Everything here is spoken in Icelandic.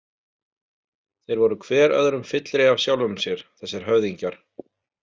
Þeir voru hver öðrum fyllri af sjálfum sér, þessir höfðingjar.